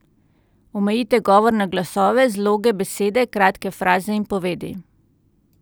Omejite govor na glasove, zloge, besede, kratke fraze in povedi.